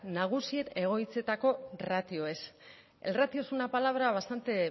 nagusien egoitzetako ratioez el ratio es una palabra bastante